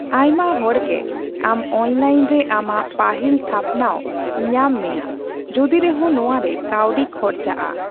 ᱟᱭᱢᱟ ᱦᱚᱲᱜᱮ ᱟᱢ ᱚᱱᱞᱟᱭᱤᱱ ᱨᱮ ᱟᱢᱟᱜ ᱯᱟᱹᱦᱤᱞ ᱛᱷᱟᱯᱱᱟᱣ ᱧᱟᱢ ᱢᱮᱭᱟ, ᱡᱩᱫᱤ ᱨᱮᱦᱚᱸ ᱱᱚᱣᱟ ᱨᱮ ᱠᱟᱣᱰᱤ ᱠᱷᱚᱨᱪᱟᱜᱼᱟ ᱾